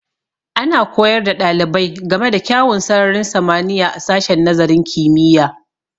Ana koyar da ɗalibai ga me da kyawun sararin samaniya a sashin nazarin kimiyya